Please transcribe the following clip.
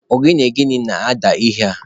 Ogene gịnị na-ada ihe a?